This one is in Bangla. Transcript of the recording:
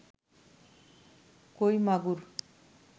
কই মাগুর